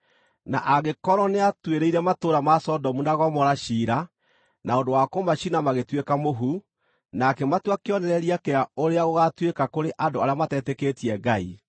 na angĩkorwo nĩatuĩrĩire matũũra ma Sodomu na Gomora ciira na ũndũ wa kũmacina magĩtuĩka mũhu, na akĩmatua kĩonereria kĩa ũrĩa gũgaatuĩka kũrĩ andũ arĩa matetĩkĩtie Ngai;